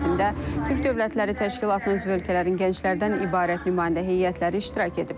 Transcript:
Mərasimdə Türk Dövlətləri Təşkilatının üzv ölkələrinin gənclərdən ibarət nümayəndə heyətləri iştirak ediblər.